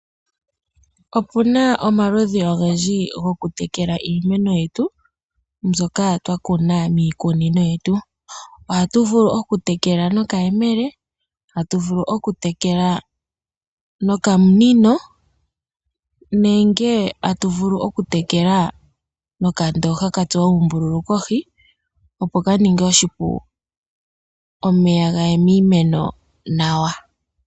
Opuna omaludhi ogendji goku tekela iimeno yetu mbyoka twakuna miikunino yetu. Ohatu vulu oku tekela nokayemele, atu vulu oku tekela nokamunino nenge atu vulu oku tekela nokandoha katsuwa uumbululu kohi opo kaninge oshipu omeya gaye miimeno nawa.